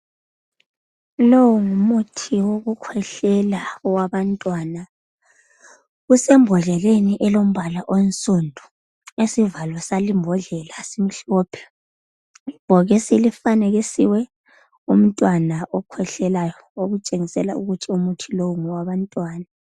Lo ngumuthi wokukwehlela owabantwana. Usembodleleni elombala onnsundu. Isivalo salimbodlela simhlophe. Ibhokisi lifanekisiwe umntwana okhwehlelayo okutshengisela ukuthi umuthi lowu ngowabantwana.